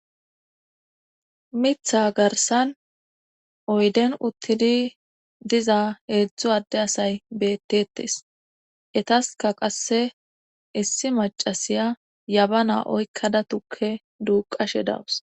mitha garsan oyden uttidi diza heedzdzu adde asay bettetes etaska qasse issi macasiya yabana oykkada tukke duuqashe dawus